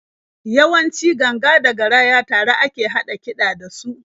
Yawanci ganga da garaya tare a ke haɗa kiɗa da su.